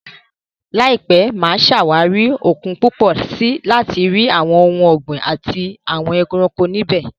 Láìpẹ́, mà á ṣàwárí òkun púpọ̀ sí i láti rí àwọn ohun ọ̀gbìn àti ẹranko níbẹ̀.